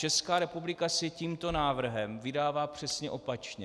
Česká republika se tímto návrhem vydává přesně opačně.